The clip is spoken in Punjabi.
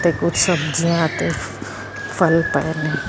ਤੇ ਕੁਝ ਸਬਜੀਆਂ ਤੇ ਫਲ ਪਏ ਨੇ।